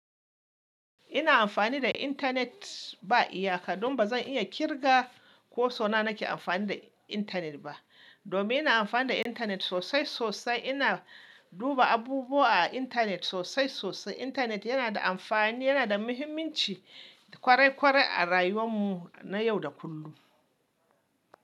Ina amfani da intanet ba iyaka, don ba zan iya kirga ko suna nake amfani da intanet ba. Domin ina amfani da intanet sosai sosai. Ina duba abubuwa a intanet sosai sosai. Intanet yana da amfani, yana da muhimmanci kwarai kwarai a rayuwar mu na yau da kullum.